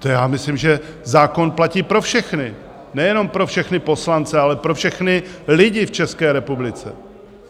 To já myslím, že zákon platí pro všechny, nejenom pro všechny poslance, ale pro všechny lidi v České republice.